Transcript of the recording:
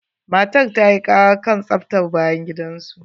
Matar ta yi ƙara kan tsaftar bayan gidan su.